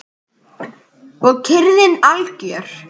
Og kyrrðin algjör.